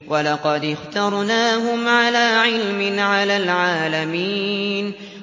وَلَقَدِ اخْتَرْنَاهُمْ عَلَىٰ عِلْمٍ عَلَى الْعَالَمِينَ